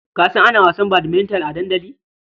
Ka san ana wasan badminton a dandali?